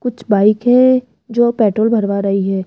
कुछ बाइक है जो पैट्रोल भरवा रही है।